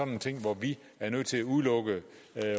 nogle ting hvor vi er nødt til at udelukke